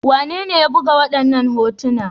Wanene ya buga waɗannan hotuna?